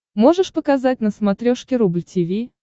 можешь показать на смотрешке рубль ти ви